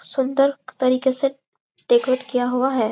सुंदर तरीके से डेकोरेट किया हुआ है।